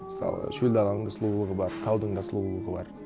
мысалы шөл даланың да сұлулығы бар таудың да сұлулығы бар